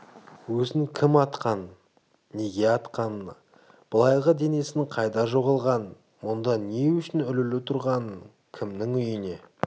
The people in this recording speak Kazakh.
өзін кім атқанын неге атқанына былайғы денесінің қайда жоғалғанын мұнда не үшін ілулі тұрғанын кімнің үйіне